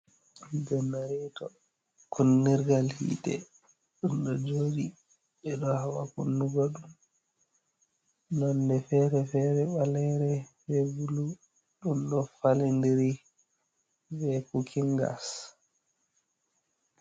Janareto kunnirgal hite ɗo joɗi ɓeɗo haɓa kunnugo ɗum nonde fere fere balere ɓe bulu ɗum ɗo falindiri be kukin gas.